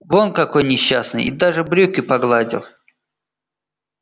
вон какой несчастный и даже брюки погладил